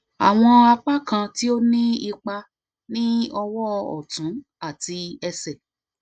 awọn apakan ti o ni ipa ni ọwọ ọtun ati ẹsẹ